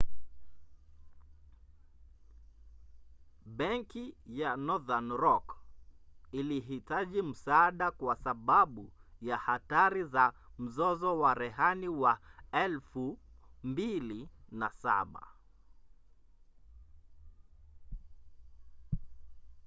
benki ya northern rock ilihitaji msaada kwa sababu ya hatari za mzozo wa rehani wa 2007